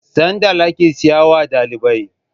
sandal ake siyawa dalibai